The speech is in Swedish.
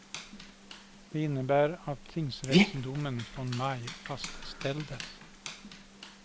Det innebär att tingsrättsdomen från maj fastställdes.